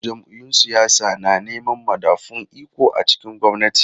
Jam’iyyun siyasa na neman madafun iko a cikin gwamnati.